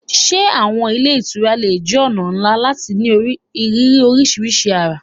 Can hotels be a great way to experience different cultures?